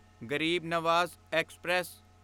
Garib Nawaz express